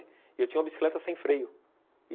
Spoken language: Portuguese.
E eu tinha uma bicicleta sem freio.